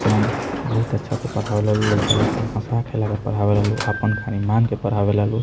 तम बहुत अच्छा से पढ़ावे ला लो लइका लोग के हँसा खेला के पढ़ावे ला लोग आपन खली नाम के पढ़ावे ला लोग |